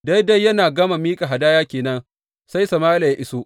Daidai yana gama miƙa hadaya ke nan sai Sama’ila ya iso.